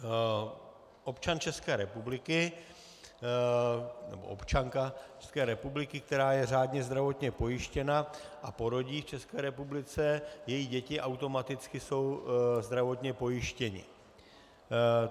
Občan České republiky - nebo občanka České republiky, která je řádně zdravotně pojištěna a porodí v České republice, její děti automaticky jsou zdravotně pojištěny.